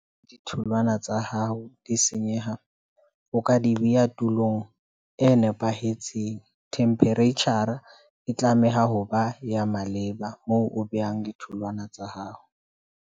Ditholwana tsa hao di senyeha, o ka di beha tulong e nepahetseng. Temperature e tlameha ho ba ya maleba moo o behang ditholwana tsa hao.